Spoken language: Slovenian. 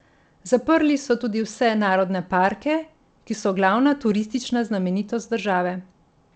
Zaprli so tudi vse narodne parke, ki so glavna turistična znamenitost države.